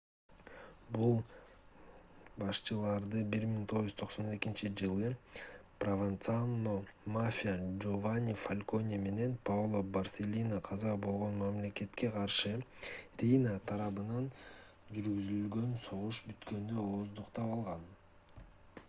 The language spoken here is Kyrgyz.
бул башчыларды 1992-жылы прованцано мафия жованни фалконе менен паоло борселлино каза болгон мамлекетке каршы рийна тарабынан жүргүзүлгөн согуш бүткөндө ооздуктап алган